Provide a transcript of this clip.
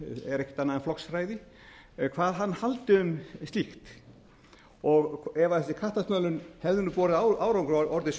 er ekkert annað en flokksræði hvað hann haldi um slíkt og ef þessi kattasmölun hefði borið árangur